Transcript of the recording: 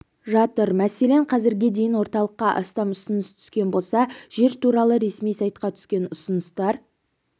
жатыр мәселен қазірге дейін орталыққа астам ұсыныс түскен болса жер туралы ресми сайтқа түскен ұсыныстар